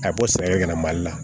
A bɛ bɔ sɛgɛn kana mali la